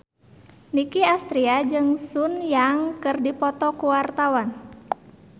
Nicky Astria jeung Sun Yang keur dipoto ku wartawan